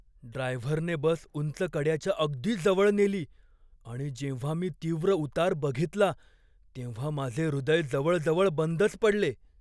ड्रायव्हरने बस उंच कड्याच्या अगदी जवळ नेली आणि जेव्हा मी तीव्र उतार बघितला तेव्हा माझे हृदय जवळजवळ बंदच पडले.